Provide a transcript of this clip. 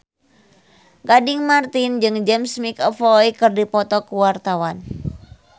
Gading Marten jeung James McAvoy keur dipoto ku wartawan